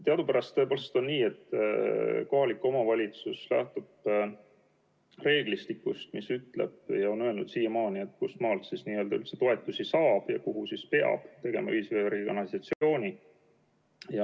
Teadupärast on nii, et kohalik omavalitsus lähtub reeglistikust, mis on siiamaani öelnud, kustmaalt toetusi saab ja kuhu peab tegema ühisveevärgi ja -kanalisatsiooni.